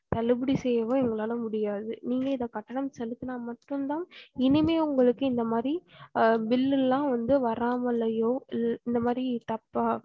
தள்ளுபடி செய்யவும் எங்களால முடியாது நீங்க இந்த கட்டணம் செலுத்தானா மட்டும் தான் இனிமே உங்களக்கு இந்த மாரி அஹ் bill எல்லாம் வராமலேயே இந்த மாரி தப்பா